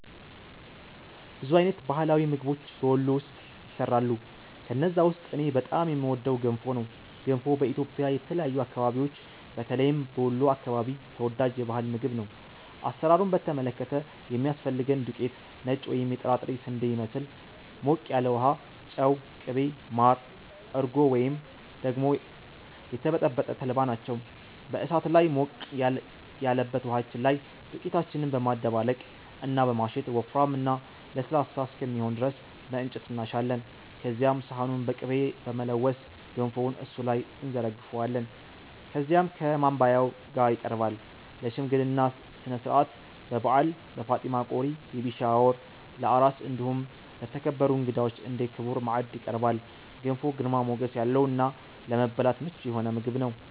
ብዙ አይነት የባህላዊ ምግቦች በ ወሎ ውስጥ ይሰራሉ። ከነዛ ውስጥ እኔ በጣም የምወደው ገንፎ ነው። ገንፎ በኢትዮጵያ የተለያዩ አከባቢዎች በተለይም በ ወሎ አከባቢ ተወዳጅ የ ባህል ምግብ ነው። አሰራሩን በተመለከተ የሚያስፈልገን ዱቄት(ነጭ ወይም የጥራጥሬ ስንዴን ይመስል)፣ ሞቅ ያለ ውሃ፣ ጨው፣ ቅቤ፣ ማር፣ እርጎ ወይም ደግሞ የተበጠበጠ ተልባ ናቸው። በ እሳት ላይ ሞቅ ያለበት ውሃችን ላይ ዱቄታችንን በማደባለቅ እና በማሸት ወፍራም እና ለስላሳ እስከሚሆን ድረስ በ እንጨት እናሻለን። ከዚያም ሰሃኑን በ ቅቤ በመለወስ ገንፎውን እሱ ላይ እንዘረግፈዋለን። ከዚያም ከ ማባያው ጋ ይቀርባል። ለ ሽምግልና ስነስርዓት፣ በ በዓል፣ በ ፋጢማ ቆሪ(ቤቢ ሻወር) ፣ለ አራስ እንዲሁም ለተከበሩ እንግዳዎች እንደ ክቡር ማዕድ ይቀርባል። ገንፎ ግርማ ሞገስ ያለው እና ለመብላት ምቹ የሆነ ምግብ ነው።